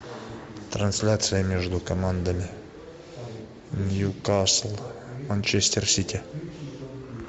трансляция между командами ньюкасл манчестер сити